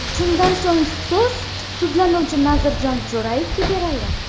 Shundan so‘ng so‘z sudlanuvchi Nazirjon Jo‘rayevga berildi.